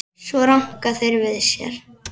Svo ranka þeir við sér.